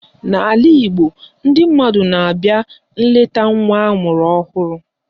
N'ala Igbo, ndị mmadụ na-abịa nleta nwa amụrụ ọhụrụ